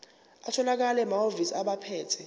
atholakala emahhovisi abaphethe